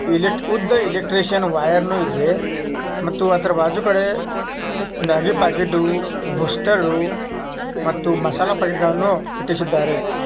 ಇಲ್ಲಿ ಉದ್ದ ಎಲೆಕ್ಟ್ರಿಷಿಯನ್ ವೈರನು ಇದೆ ಮತ್ತು ಆದ್ರೂ ಬಾಜು ಗಡೆ ಮಾಗಿ ಪ್ಯಾಕೆಟ್ಟು ಬೂಸ್ಟ್ರು ಮತ್ತು ಮಸಾಲಾ ಪ್ಯಾಕೆಟ್ ಗಳ್ಳನ ಇಟ್ಟಿಸಿದ್ದಾರೆ